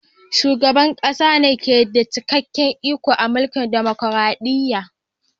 Shugaban ƙasa ne ke da cikakken iko a mulkin dumukuradiyya.